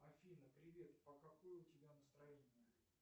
афина привет а какое у тебя настроение